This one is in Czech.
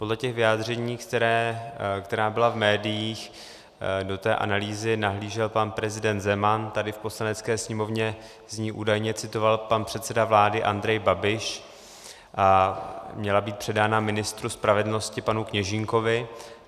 Podle těch vyjádření, která byla v médiích, do té analýzy nahlížel pan prezident Zeman, tady v Poslanecké sněmovně z ní údajně citoval pan předseda vlády Andrej Babiš a měla být předána ministru spravedlnosti panu Kněžínkovi.